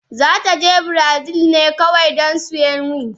za ta je Brazil ne kawai don siyan wig